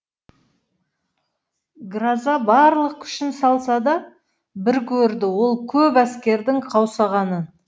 гроза барлық күшін салса да біркөрді ол көп әскердің қаусағанын